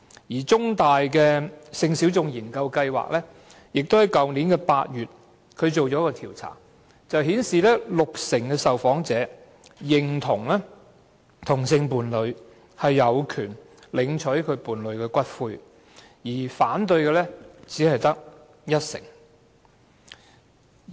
香港中文大學性小眾研究計劃於去年8月進行了一次調查，結果顯示六成受訪者認同同性伴侶有權領取伴侶的骨灰，反對的只得一成。